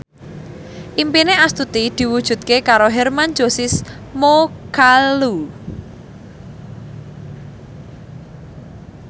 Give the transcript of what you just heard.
impine Astuti diwujudke karo Hermann Josis Mokalu